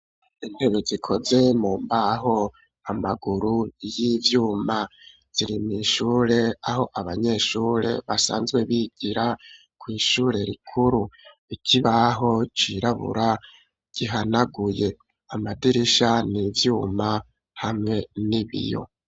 Intebe zikoze mu mbaho amaguru y'ivyuma ,zirima ishure aho abanyeshure basanzwe bigira, ku ishure rikuru, ikibaho cirabura ,gihanaguye, amadirisha n'ivyuma hamwe n'ibiyo.